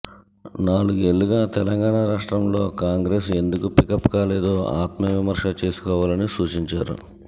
నాలుగేళ్లుగా తెలంగాణ రాష్ట్రంలో కాంగ్రెస్ ఎందుకు పికప్ కాలేదో ఆత్మవిమర్శ చేసుకోవాలని సూచించారు